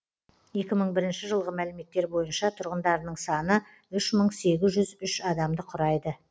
екі мың бірінші жылғы мәліметтер бойынша тұрғындарының саны үш мың сегіз жүз үш адамды құрайды